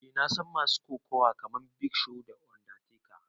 Eh na san masu kokawa kaman big show, undertaker.